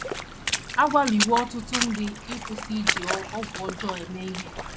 A kwaliwo ọtụtụ ndị ịkwụsị iji ọgwụ ọjọọ eme ihe